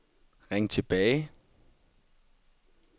ring tilbage